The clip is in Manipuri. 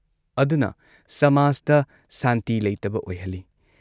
ꯑꯗꯨꯅ ꯁꯃꯥꯖꯇ ꯁꯥꯟꯇꯤ ꯂꯩꯇꯕ ꯑꯣꯏꯍꯜꯂꯤ꯫